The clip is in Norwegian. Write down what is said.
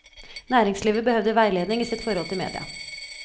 Næringslivet behøvde veileding i sitt forhold til media.